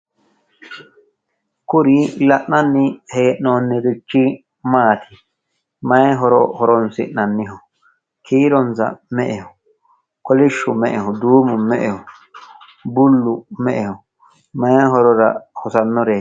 Kuri la'nanni hee'noonnirichi maati? Mayi horo horoonsi'nanniho? Kiironsa me"eho? Kolishshu me"eho? Duumu me"eho? Bullu me"eho? Mayi horora hosannoreeti?